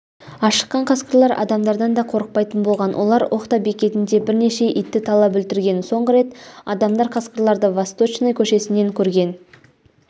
ашыққан қасқырлар адамдардан да қорықпайтын болған олар ухта бекетінде бірнеше итті талап өлтірген соңғы рет адамдар қасқырларды восточной көшесінен көрген